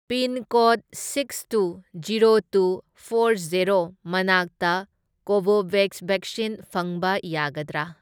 Pin code six two zero two four zero ꯃꯅꯥꯛꯇ Covovax vaccine ꯐꯪꯕ ꯌꯥꯒꯗ꯭ꯔꯥ?